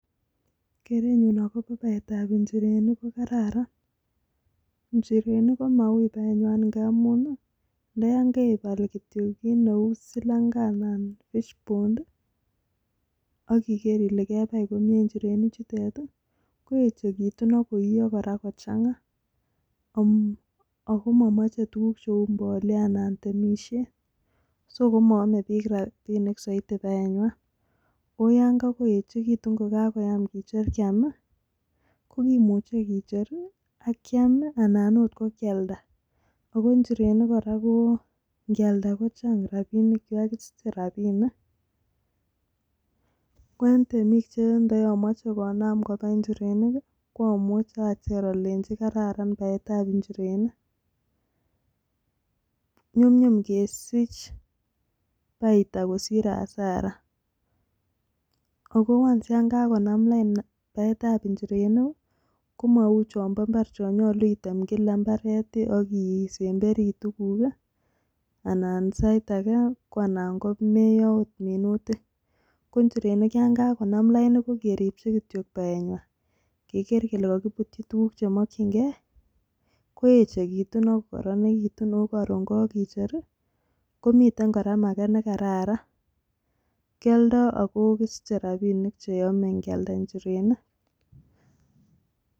Kereeen nyuun. akopa paeet ap.inchirenik.ko.kararan amun njirenik. komechee ngatetek ap.tuga anan. kecher akealdaaa ngeldaa njirenii chutok ako inyoruuu rapisheerk. chechang. ako. manyaluuuu imetee njirenik nitestaii AK.paeeet ap.injirenii chutok